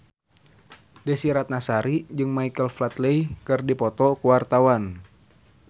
Desy Ratnasari jeung Michael Flatley keur dipoto ku wartawan